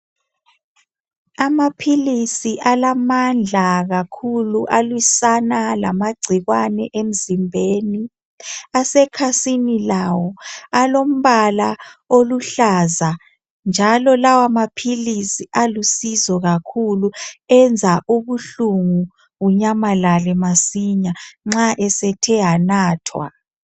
Amaphilisi alamandla kakhulu aliswana lamagcikwane emzimbeni asekhasini lawo alombala oluhlaza njalo lawa maphilisi alusizo kakhulu enza ubuhlungu bunyamalale masinya nxa esethe anathwa.